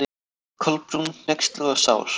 Kolbrún, hneyksluð og sár.